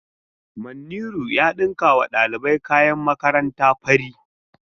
Manniru ya dinkawa dalibai kayan makaranta fari.